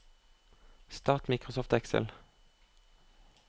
start Microsoft Excel